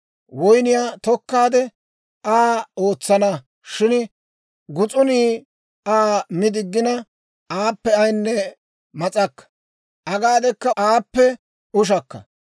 Woynniyaa tokkaade, Aa ootsana; shin gus'unii Aa mi diggina, aappe ayinne mas'akka; agaadeka aappe ushakka.